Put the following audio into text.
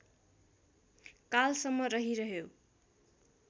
कालसम्म रहिरह्यो